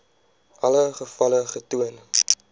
alle gevalle getoon